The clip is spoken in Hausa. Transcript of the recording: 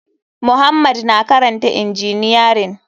Muhammad na karanta injiniyarin.